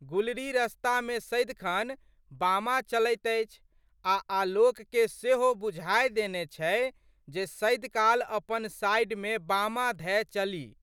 गुलरी रस्तामे सदिखन बामा चलैत अछि आ' आलोकके सेहो बुझाए देने छै जे सदिकाल अपन साइडमे बामा धए चली।